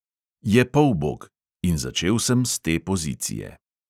Je polbog – in začel sem s te pozicije.